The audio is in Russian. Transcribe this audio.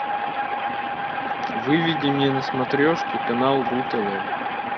выведи мне на смотрешке канал ру тв